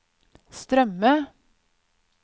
strømme